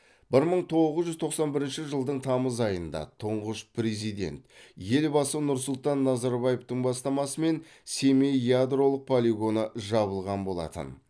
бір мың тоғыз жүз тоқсан бірінші жылдың тамыз айында тұңғыш президент елбасы нұрсұлтан назарбаевтың бастамасымен семей ядролық полигоны жабылған болатын